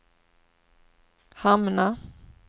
hamna